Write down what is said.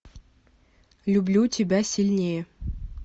люблю тебя сильнее